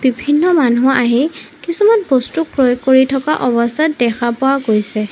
বিভিন্ন মানুহ আহি কিছুমান বস্তু প্ৰয়োগ কৰি থকা অৱস্থাত দেখা পোৱা গৈছে।